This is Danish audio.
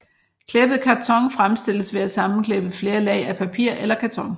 Klæbet karton fremstilles ved at sammenklæbe flere lag af papir eller karton